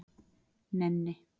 Nenni